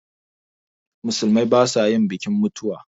Musulmai ba sa yin bikin mutuwa